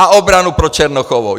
A obranu pro Černochovou.